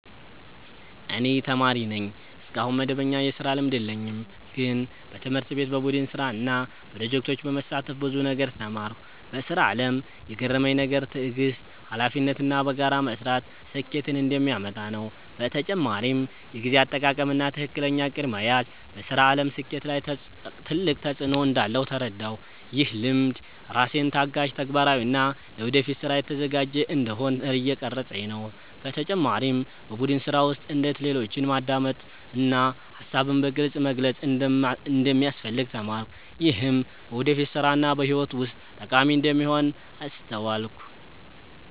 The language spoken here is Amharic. እኔ ተማሪ ነኝ፣ እስካሁን መደበኛ የስራ ልምድ የለኝም። ግን በትምህርት ቤት በቡድን ስራ እና ፕሮጀክቶች በመሳተፍ ብዙ ነገር ተማርኩ። በስራ አለም የገረመኝ ነገር ትዕግስት፣ ሀላፊነት እና በጋራ መስራት ስኬትን እንደሚያመጣ ነው። በተጨማሪም የጊዜ አጠቃቀም እና ትክክለኛ እቅድ መያዝ በስራ አለም ስኬት ላይ ትልቅ ተፅዕኖ እንዳለው ተረዳሁ። ይህ ልምድ ራሴን ታጋሽ፣ ተግባራዊ እና ለወደፊት ስራ የተዘጋጀ እንዲሆን እየቀረፀኝ ነው። በተጨማሪም በቡድን ስራ ውስጥ እንዴት ሌሎችን ማዳመጥ እና ሀሳብን በግልፅ መግለጽ እንደሚያስፈልግ ተማርኩ። ይህም በወደፊት ስራ እና በህይወት ውስጥ ጠቃሚ እንደሚሆን አስተዋልኩ።